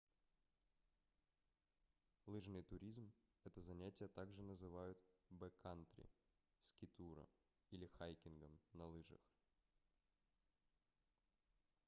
лыжный туризмэто занятие также называют бэккантри скитуро или хайкингом на лыжах